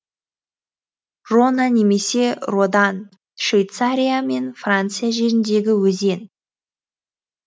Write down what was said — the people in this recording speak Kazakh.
рона немесе рода н швейцария мен франция жеріндегі өзен